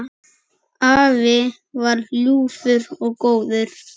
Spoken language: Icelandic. Afi var ljúfur og góður.